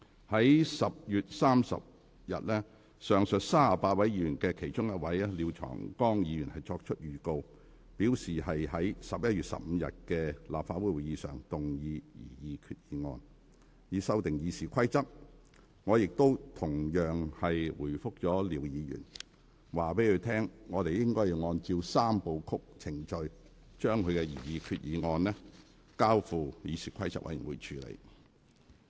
在10月30日，上述38位議員的其中一位作出預告，表示擬於11月15日的立法會會議上，動議擬議決議案，以修訂《議事規則》，我亦同樣回覆廖議員，告知他我會按照"三部曲"程序，將他的擬議決議案交付議事規則委員會處理。